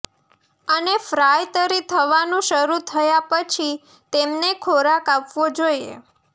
અને ફ્રાય તરી થવાનું શરૂ થયા પછી તેમને ખોરાક આપવો જોઈએ